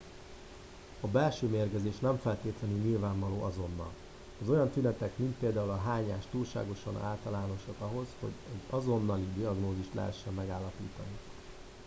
a belső mérgezés nem feltétlenül nyilvánvaló azonnal az olyan tünetek mint például a hányás túlságosan általánosak ahhoz hogy egy azonnali diagnózist lehessen megállapítani